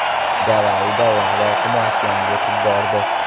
Gavayida lava oqimi okeanga yetib bordi .